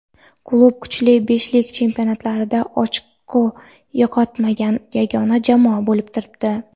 Klub kuchli beshlik chempionatlarida ochko yo‘qotmagan yagona jamoa bo‘lib turibdi.